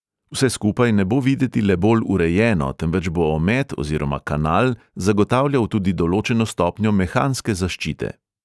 Vse skupaj ne bo videti le bolj urejeno, temveč bo omet oziroma kanal zagotavljal tudi določeno stopnjo mehanske zaščite.